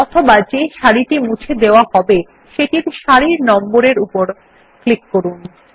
অথবা যে সারিটি মুছে দেওয়া হবে সেটির সারির নম্বর উপর ক্লিক করুন